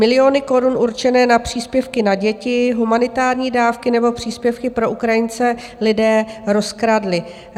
Miliony korun určené na příspěvky na děti, humanitární dávky nebo příspěvky pro Ukrajince lidé rozkradli.